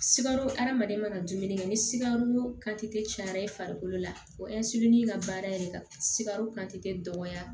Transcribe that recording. Sikaro hadamaden mana dumuni kɛ ni sikaro kante cayara i farikolo la o ka baara yɛrɛ ka sikaro kante dɔgɔya